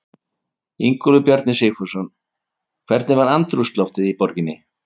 Ingólfur Bjarni Sigfússon: Hvernig var andrúmsloftið í borginni?